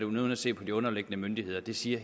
uden at se på de underliggende myndigheder det siger